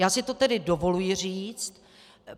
Já si to tedy dovoluji říct.